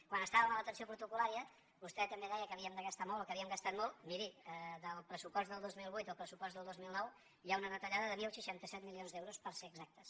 quan estàvem a l’atenció protocol·lària vostè també deia que havíem de gastar molt o que havíem gastat molt miri del pressupost del dos mil vuit al pressupost del dos mil nou hi ha una retallada de deu seixanta set milions d’euros per ser exactes